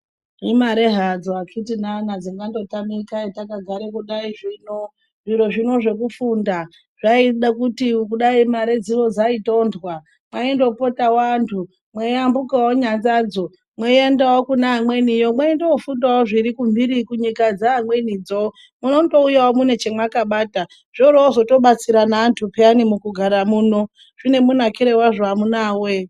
Imare hadzo akiti nana dzingangotamika etakagare kudai zvino, zviro zvino zvekufunda zvaide kuti kudai mare dzino dzaitonhwa mwaindopotawo antu mweambukawo nyanzadzo mweiendawo kune amweniyo mweiyofundawo zviri kumhiri kunyika dzeamwenidzo munondouyawo mune chamwakabata zvoorozotobatsira neantu peyani mukugara muno, zvine munakire wazvo amunawe!.